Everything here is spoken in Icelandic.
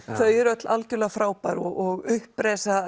þau eru öll algerlega frábær og upprisa